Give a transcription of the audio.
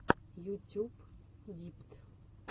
ютюб дипт